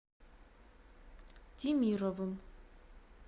темировым